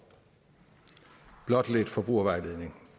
blot som lidt forbrugervejledning